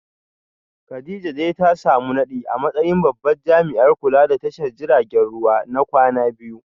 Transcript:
Kadijah dai ta samu nadi a matsayin babban jami’in kula da tashar jiragen ruwa na kwana biyu